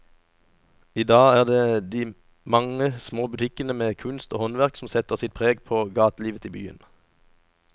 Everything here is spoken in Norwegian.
I dag er det de mange små butikkene med kunst og håndverk som setter sitt preg på gatelivet i byen.